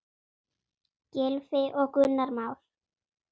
Gylfi og Gunnar Már.